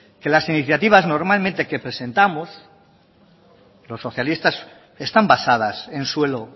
que las iniciativas normalmente que presentamos los socialistas están basadas en suelo